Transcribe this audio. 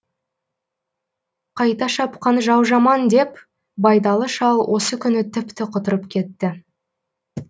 қайта шапқан жау жаман деп байдалы шал осы күні тіпті құтырып кетті